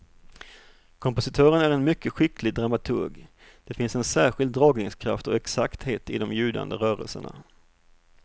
Kompositören är en mycket skicklig dramaturg, det finns en särskild dragningskraft och exakthet i de ljudande rörelserna.